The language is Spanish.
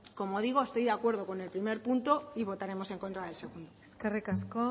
como digo estoy de acuerdo con el primer punto y votaremos en contra del segundo eskerrik asko